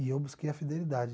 E eu busquei a fidelidade.